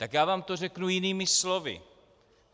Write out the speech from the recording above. Tak já vám to řeknu jinými slovy.